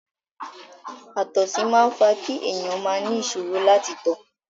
Àtọ̀sí máa ń fa kí èèyàn máa ni ìṣòro láti tọ̀.